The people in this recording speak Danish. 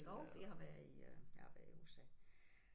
Jo vi har været i jeg har været i USA